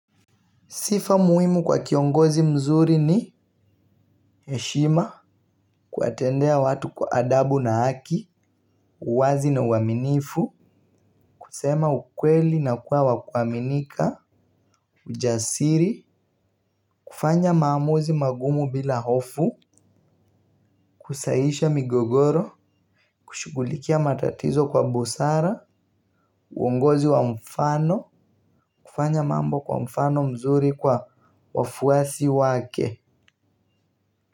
Sifa muhimu kwa kiongozi mzuri ni heshima, kuwatendea watu kwa adabu na haki, uwazi na uaminifu, kusema ukweli na kuwa wa kuaminika, ujasiri, kufanya maamuzi magumu bila hofu, kusahihisha migogoro, kushughulikia matatizo kwa busara, uongozi wa mfano, kufanya mambo kwa mfano mzuri kwa wafuasi wake.